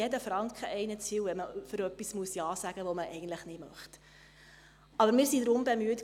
Wenn man zu etwas Ja sagen muss, das man eigentlich nicht möchte, ist einem jeder Franken zu viel.